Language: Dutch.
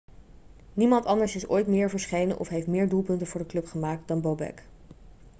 niemand anders is ooit meer verschenen of heeft meer doelpunten voor de club gemaakt dan bobek